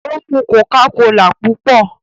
ó mù cocacola púpọ